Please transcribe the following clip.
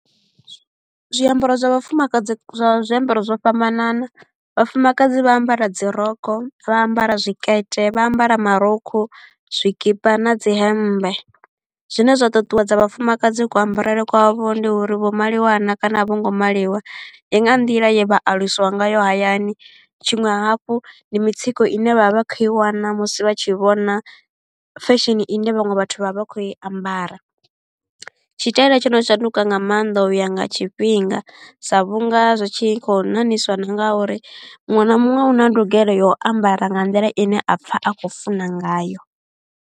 Zwiambaro zwa vhafumakadzi zwa zwiambaro zwo fhambanana, vhafumakadzi vha ambara dzi rokho vha ambara zwikete vha ambara marukhu zwikipa na dzi hemmbe. Zwine zwa ṱuṱuwedza vhafumakadzi ku ambarele kwavho ndi uri vho maliwa naa kana a vho ngo maliwa, ndi nga nḓila ye vha aluswa ngayo hayani. Tshiṅwe hafhu ndi mitsiko ine vhavha vha khou i wana musi vha tshi vhona fashion ine vhaṅwe vhathu vha vha vha khou i ambara. Tshitaela tsho no shanduka nga maanḓa u ya nga tshifhinga sa vhunga zwi tshi khou ṋaṋiswa na nga uri muṅwe na muṅwe u na ndugelo ya u ambara nga nḓila ine a pfha a khou funa ngayo.